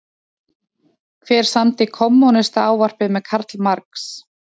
Hver samdi Kommúnistaávarpið með Karl Marx?